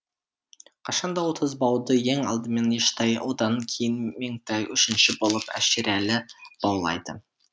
қашан да отыз бауды ең алдымен ештай одан кейін меңтай үшінші болып әшірәлі баулайды